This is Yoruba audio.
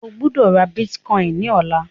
O gbódò rà Bitcoin ní ọlá!